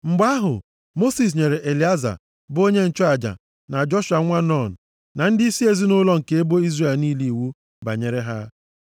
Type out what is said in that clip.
Mgbe ahụ, Mosis nyere Elieza, bụ onye nchụaja, na Joshua nwa Nun, na ndịisi ezinaụlọ nke ebo Izrel niile iwu banyere ha,